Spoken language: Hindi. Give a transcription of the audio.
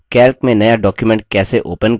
calc में नया document कैसे open करें